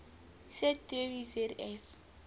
set theory zf